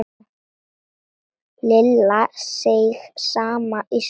Lilla seig saman í sætinu.